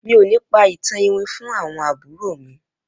Mi ò ní pa ìtàn iwin fún àwọn àbúrò mi